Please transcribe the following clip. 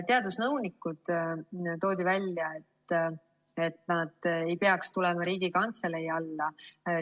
Toodi välja, et teadusnõunikud ei peaks tulema Riigikantselei alla.